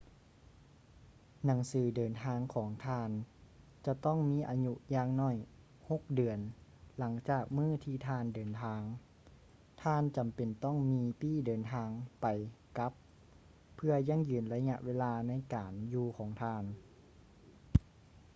ໜັງສືເດີນທາງຂອງທ່ານ ຈະຕ້ອງມີອາຍຸຢ່າງໜ້ອຍ 6 ເດືອນຫຼັງຈາກມື້ທີ່ທ່ານເດີນທາງ ທ່ານຈຳເປັນຕ້ອງມີປີ້ເດີນທາງໄປ-ກັບ ເພື່ອຢັ້ງຢືນໄລຍະເວລາໃນການຢູ່ຂອງທ່ານ